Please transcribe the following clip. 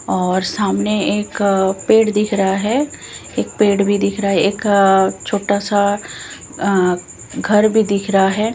और सामने एक पेड़ दिख रहा है एक पेड़ भी दिख रहा है एक छोटा सा अं घर भी दिख रहा है।